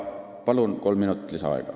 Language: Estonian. Palun kolm minutit lisaaega!